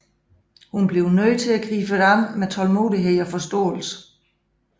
Hun bliver nødt til at gribe det an med tålmodighed og forståelse